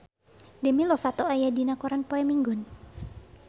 Demi Lovato aya dina koran poe Minggon